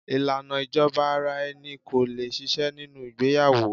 Ìlànà ìjọba ara-ẹni ko lè ṣiṣẹ́ nínú ìgbéyàwó.